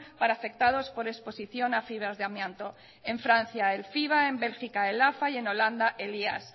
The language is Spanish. para afectados por exposición a fibras de amianto en francia el fiva en bélgica el afa y en holanda el ias